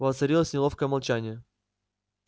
воцарилось неловкое молчание